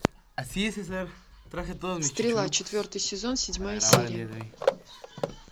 стрела четвертый сезон седьмая серия